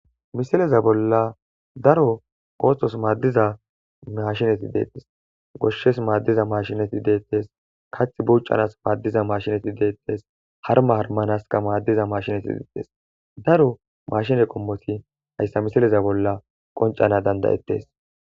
Misileza bolla daro othos madiza mashinet detes. Ista gidoppeka goshes madiza mashinet detes, kathi bucanas madiza mashinet detes haruma harumanaska madiza mashinet detes. Daro mashine qomot haysa misileza bolla qoncana danda'etes.